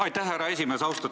Aitäh, härra esimees!